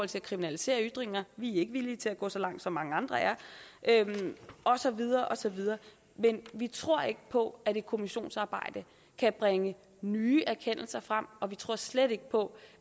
til at kriminalisere ytringer vi er ikke villige til at gå så langt som mange andre er og så videre og så videre men vi tror ikke på at et kommissionsarbejde kan bringe nye erkendelser frem og vi tror slet ikke på